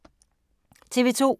TV 2